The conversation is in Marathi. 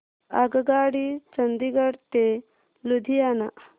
आगगाडी चंदिगड ते लुधियाना